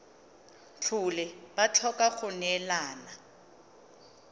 tlhole ba tlhoka go neelana